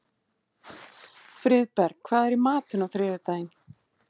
Friðberg, hvað er í matinn á þriðjudaginn?